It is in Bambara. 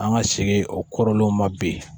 An ka segin o kɔrɔlenw ma bi